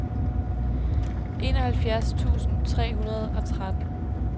enoghalvfjerds tusind tre hundrede og tretten